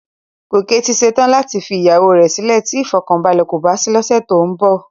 Gòkè ti ṣe tán láti fi ìyàwó rẹ sílè tí ìfọ̀kànbalẹ̀ kò bá sí lọ́sẹ̀ tó ń bọ̀